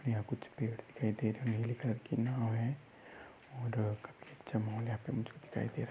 यहा कुछ पेड दिखाई दे रहा है। निले कलर कि नाव है। और काफी अच्छा माहोल यहाँ पे दिखाई दे रहा है।